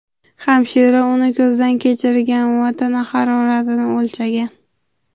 Hamshira uni ko‘zdan kechirgan va tana haroratini o‘lchagan.